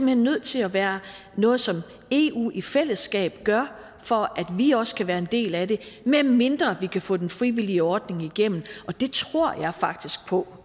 hen nødt til at være noget som eu i fællesskab gør for at vi også kan være en del af det medmindre vi kan få den frivillige ordning igennem og det tror jeg faktisk på